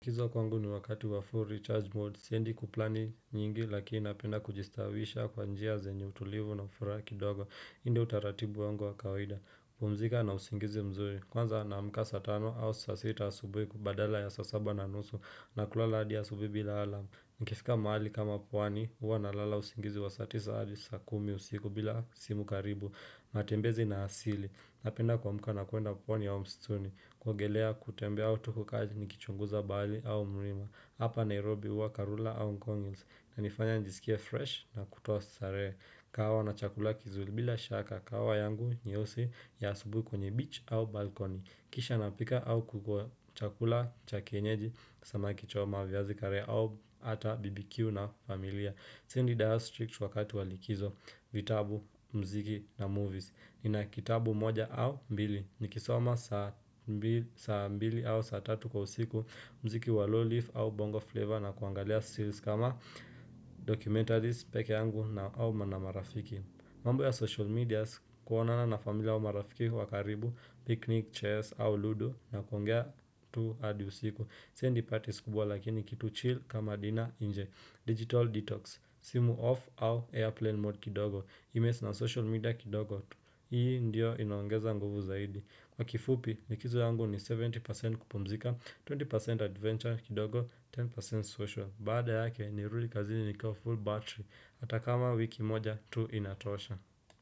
Likizo kwangu ni wakati wa full recharge mode siendi kuplani nyingi lakini napenda kujistawisha kwa njia zenye utulivu na furaha kidogo hii ndiyo utaratibu wangu wa kawaida kupumzika na usingizi mzuri. Kwanza naamka saa tano au saa sita asubuhi badala ya saa saba na nusu na kulala hadi asubuhi bila alarm. Nikifika mahali kama pwani, huwa nalala usingizi wa saa tisa hadi saa kumi usiku bila simu karibu, matembezi na asili. Napenda kuamka na kuenda pwani au msituni, kuogelea kutembea au tu kukaa nikichunguza bahali au mlima. Hapa Nairobi huwa karura au gong hills hunifanya nijisikia fresh na kutoa starehe. Kahawa na chakula kizuri bila shaka kahawa yangu nyeusi ya asubuhi kwenye beach au balkoni. Kisha napika au kukula chakula cha kienyeji samaki choma viazi karea au ata bbq na familia Siendi diet strict wakati walikizo vitabu mziki na movies Nina kitabu moja au mbili ni kisoma saa mbili au saa tatu kwa usiku mziki wa low leaf au bongo flavor na kuangalia series kama documentaries pekee yangu na au na marafiki mambo ya social medias, kuonana na familia au marafiki wakaribu, picnic, chairs, au ludo na kuongea tu hadi usiku. Siendi parties kubwa lakini kitu chill kama dinner nje. Digital detox, simu off au airplane mode kidogo. Emails na social media kidogo tu. Hii ndio inaongeza nguvu zaidi. Kwa kifupi, likizo yangu ni 70% kupumzika, 20% adventure kidogo, 10% social. Baada yake ni rudi kazini ni kiwa full battery atakama wiki moja tu inatosha.